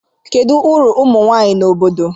Kedụ ọrụ ụmụ nwanyị na obodo?